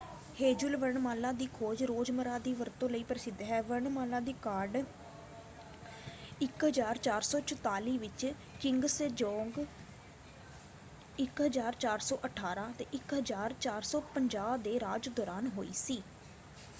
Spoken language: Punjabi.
ਹੈਂਜੂਲ ਵਰਣਮਾਲਾ ਦੀ ਖੋਜ ਰੋਜ਼ਮਰ੍ਹਾ ਦੀ ਵਰਤੋਂ ਲਈ ਪ੍ਰਸਿੱਧ ਹੈ। ਵਰਣਮਾਲਾ ਦੀ ਕਾਢ 1444 ਵਿੱਚ ਕਿੰਗ ਸੇਜੋਂਗ 1418 - 1450 ਦੇ ਰਾਜ ਦੌਰਾਨ ਹੋਈ ਸੀ।